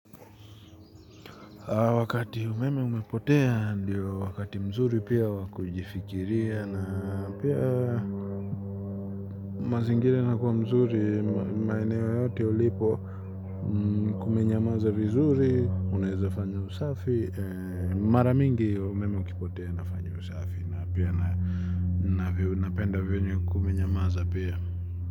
Wakati umeme umepotea ndio wakati mzuri pia wa kujifikiria na pia mazingira yanakuwa mzuri maeneo yote ulipo kumenyamaza vizuri, unaweza fanya usafi, mara mingi umeme ukipotea nafanya usafi na pia napenda venye kumenyamaza pia.